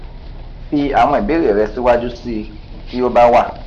fi àwọn ìbéèrè rẹ síwájú sí i tí ó bá wà